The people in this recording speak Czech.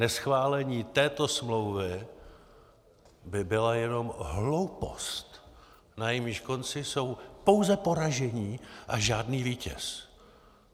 Neschválení této smlouvy by byla jenom hloupost, na jejímž konci jsou pouze poražení a žádný vítěz.